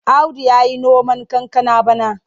Audu ya yi noman kankana bana.